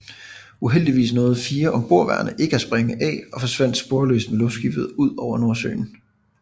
Uheldigvis nåede 4 ombordværende ikke at springe af og forsvandt sporløst med luftskibet ud over Nordsøen